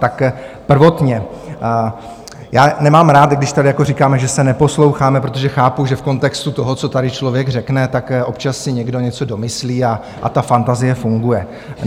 Tak prvotně - já nemám rád, když tady říkáme, že se neposloucháme, protože chápu, že v kontextu toho, co tady člověk řekne, tak občas si někdo něco domyslí a ta fantazie funguje.